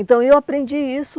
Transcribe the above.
Então eu aprendi isso